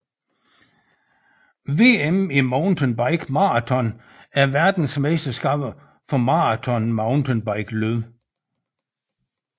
VM i mountainbike maraton er verdensmesterskabet for maraton mountainbikeløb